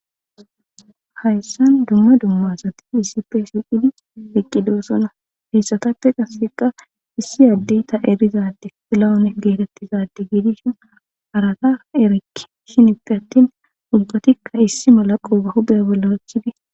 hayssan dumma dummasati isipsi i eqqido sona heyssatappe qaseqa issi addeyta erizadi filawune geetettizadi giidishin arata erik shiniti attin ubbatikka issi mala qooga hubeya ballaachifi